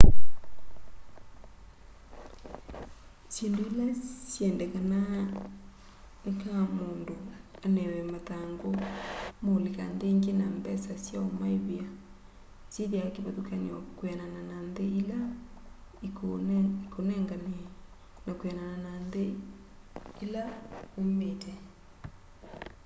syĩndũ ila syendekanaa nĩ kaa mũndũ anewe mathangũ ma ũlika nthĩ ĩngĩ na mbesa sya'ũmaĩvĩa syĩthĩawa kĩvathũkanyo kwĩanana na nthĩ ĩla ĩkũĩnengane na kwĩanana na nthĩ ĩla uumĩte